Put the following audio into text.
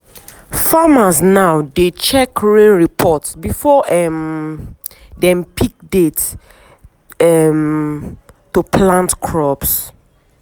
farmers now dey check rain report before um dem pick date um to plant crops.